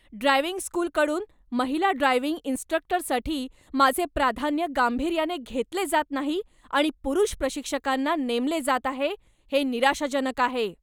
Driving स्कूलकडून महिला driving इन्स्ट्रक्टरसाठी माझे प्राधान्य गांभीर्याने घेतले जात नाही आणि पुरुष प्रशिक्षकांना नेमले जात आहे, हे निराशाजनक आहे.